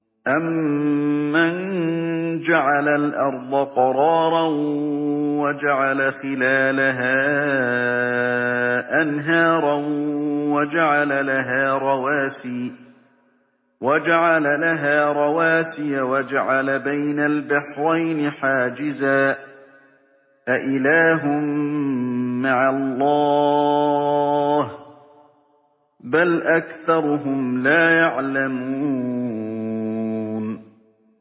أَمَّن جَعَلَ الْأَرْضَ قَرَارًا وَجَعَلَ خِلَالَهَا أَنْهَارًا وَجَعَلَ لَهَا رَوَاسِيَ وَجَعَلَ بَيْنَ الْبَحْرَيْنِ حَاجِزًا ۗ أَإِلَٰهٌ مَّعَ اللَّهِ ۚ بَلْ أَكْثَرُهُمْ لَا يَعْلَمُونَ